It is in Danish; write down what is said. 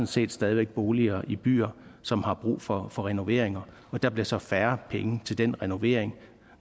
set stadig væk boliger i byerne som har brug for for renoveringer der bliver så færre penge til den renovering